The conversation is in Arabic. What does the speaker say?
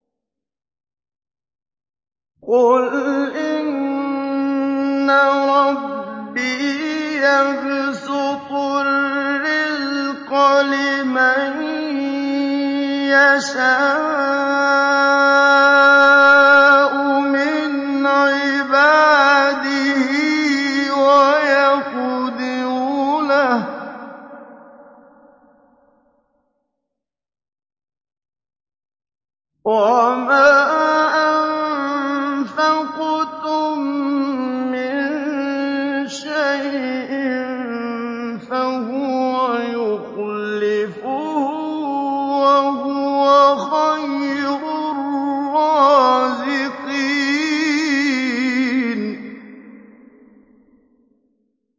قُلْ إِنَّ رَبِّي يَبْسُطُ الرِّزْقَ لِمَن يَشَاءُ مِنْ عِبَادِهِ وَيَقْدِرُ لَهُ ۚ وَمَا أَنفَقْتُم مِّن شَيْءٍ فَهُوَ يُخْلِفُهُ ۖ وَهُوَ خَيْرُ الرَّازِقِينَ